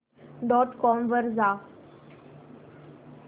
dot com वर जा